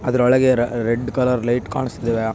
ಅದರ ಒಳಗೆ red colour light ಕಾನ್ಸ್ತಿದ್ವೆ.